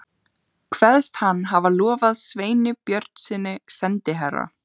Kveðst hann hafa lofað Sveini Björnssyni, sendiherra